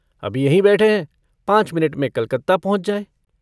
अभी यहीं बैठे हैं पाँच मिनट में कलकत्ता पहुँच जायँ।